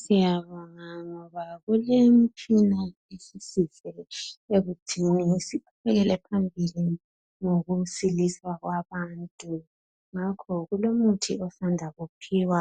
Siyabonga ngoba kulemtshina esisizile ekuthiweni siqhubekele phambili ngokusiliswa kwabantu ngakho kulomuthi osanda kuphiwa